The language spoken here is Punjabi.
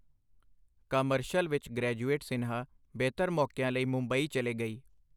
ਕਾਮਰਸ਼ਲ ਵਿੱਚ ਗ੍ਰੈਜੂਏਟ ਸਿਨਹਾ ਬਿਹਤਰ ਮੌਕਿਆਂ ਲਈ ਮੁੰਬਈ ਚੱਲੇ ਗਈ